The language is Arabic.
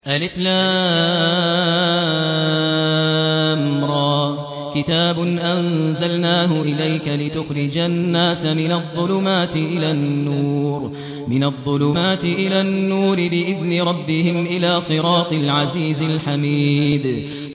الر ۚ كِتَابٌ أَنزَلْنَاهُ إِلَيْكَ لِتُخْرِجَ النَّاسَ مِنَ الظُّلُمَاتِ إِلَى النُّورِ بِإِذْنِ رَبِّهِمْ إِلَىٰ صِرَاطِ الْعَزِيزِ الْحَمِيدِ